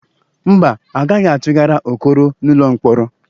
Mba, A gaghị atụgara Okoro n'ụlọ mkpọrọ.